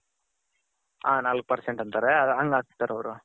ಹ ನಾಲಕ್ percent ಅಂತಾರೆ ಹಂಗ ಹಾಕ್ತಾರೆ ಅವರು.